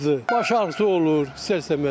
Baş ağrısı olur istər-istəməz.